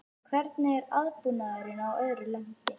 Hvernig er aðbúnaðurinn að öðru leyti?